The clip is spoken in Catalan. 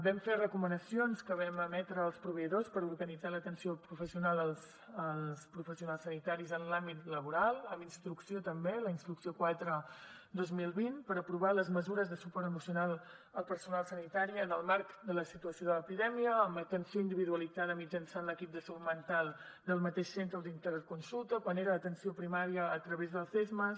vam fer recomanacions que vam emetre als proveïdors per organitzar l’atenció professional als professionals sanitaris en l’àmbit laboral amb instrucció també la instrucció quatre dos mil vint per aprovar les mesures de suport emocional al personal sanitari en el marc de la situació de l’epidèmia amb atenció individualitzada mitjançant l’equip de salut mental del mateix centre o d’interconsulta quan era atenció primària a través dels csmas